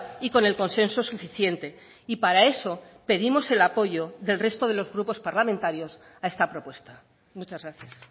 y con el consenso suficiente y para eso pedimos el apoyo del resto de los grupos parlamentarios a esta propuesta muchas gracias